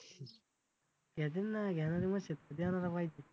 घेतील ना घेणारी मस्त आहेत देणारा पाहिजे.